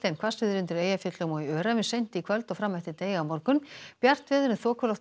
hvassviðri undir Eyjafjöllum og í Öræfum seint í kvöld og fram eftir degi á morgun bjart veður en þokuloft